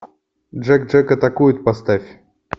джек джек атакует поставь